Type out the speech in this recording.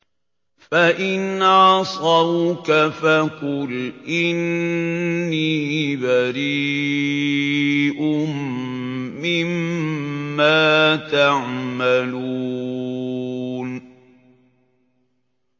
فَإِنْ عَصَوْكَ فَقُلْ إِنِّي بَرِيءٌ مِّمَّا تَعْمَلُونَ